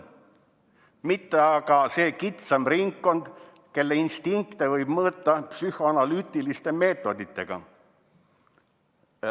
"Mitte aga see kitsam ringkond, kelle instinkte võib mõõta psühhoanalüütilise meetodiga.